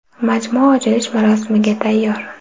Majmua ochilish marosimiga tayyor.